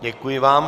Děkuji vám.